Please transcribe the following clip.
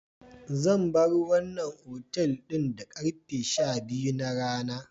Zan bar wannan otal ɗin da karfe sha-biyu na rana.